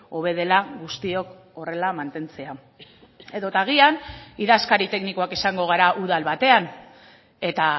hobe dela guztiok horrela mantentzea edota agian idazkari teknikoak izango gara udal batean eta